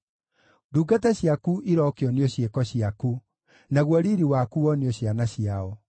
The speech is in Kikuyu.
Ndungata ciaku irokĩonio ciĩko ciaku, naguo riiri waku wonio ciana ciao.